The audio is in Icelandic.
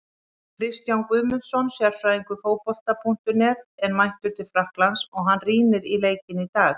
Kristján Guðmundsson, sérfræðingur Fótbolta.net, er mættur til Frakklands og hann rýndi í leikinn í dag.